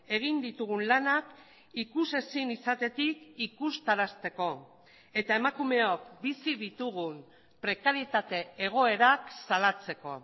egin ditugun lanak ikusezin izatetik ikustarazteko eta emakumeok bizi ditugun prekarietate egoerak salatzeko